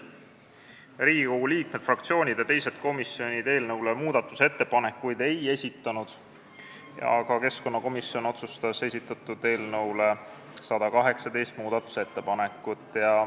Riigikogu liikmed, fraktsioonid ja teised komisjonid eelnõu kohta muudatusettepanekuid ei esitanud, aga keskkonnakomisjon otsustas teha 118 muudatusettepanekut.